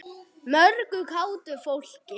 Mörgu kátu fólki.